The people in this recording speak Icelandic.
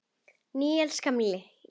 Níels gamli í